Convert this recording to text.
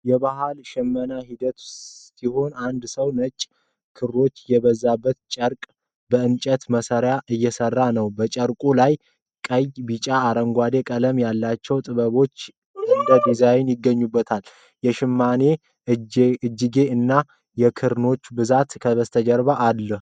የባህላዊ ሽመና ሂደት ሲሆን አንድ ሰው ነጭ ክሮች የበዙበትን ጨርቅ በእንጨት መሣሪያዎች እየሰራ ነው። በጨርቁ ላይ ቀይ፣ ቢጫ እና አረንጓዴ ቀለም ያላቸው ጥብጣቦች እንደ ዲዛይን ይገኙበታል። የሽማኔው እጅጌ እና የክርኖች ብዛት ከበስተጀርባ አሉ።